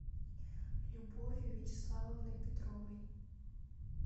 любовью вячеславовной петровой